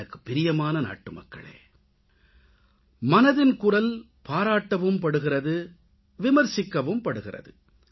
எனக்குப்பிரியமான நாட்டுமக்களே மனதின் குரல் பாராட்டவும்படுகிறது விமர்சிக்கவும்படுகிறது